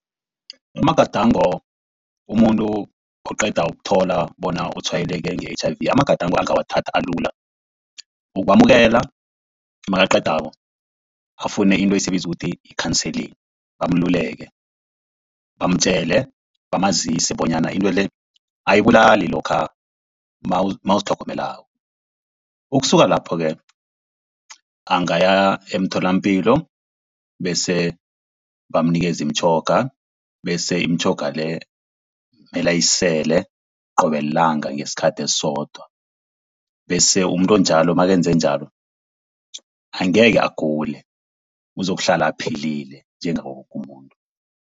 Amagadango umuntu oqeda ukuthola bona utshwayeleke nge-H_I_V, amagadango angawathatha alula, ukwamukela nakaqedako afune into esiyibiza ukuthi yi-counselling bamluleke, bamtjele bamazise bonyana into le ayibulali lokha nawuzitlhogomelako. Ukusuka lapho-ke angaya emtholapilo bese bamunikeza imitjhoga, bese imitjhoga le mele ayisele qobe lilanga ngesikhathi esisodwa. Bese umuntu onjalo nakenze njalo angekhe agule uzokuhlala aphilile njengawo woke umuntu.